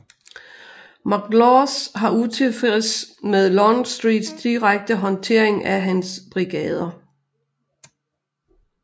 McLaws har utilfreds med Longstreets direkte håndtering af hans brigader